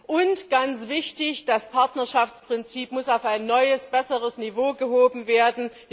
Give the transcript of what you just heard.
Und ganz wichtig Das Partnerschaftsprinzip muss auf ein neues und besseres Niveau gehoben werden.